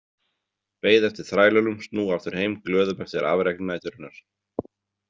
Beið eftir þrælunum snúa aftur heim glöðum eftir afrek næturinnar.